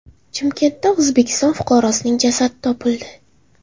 Chimkentda O‘zbekiston fuqarosining jasadi topildi.